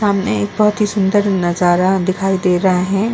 सामने एक बहोत ही सुंदर नजारा दिखाई दे रहा है।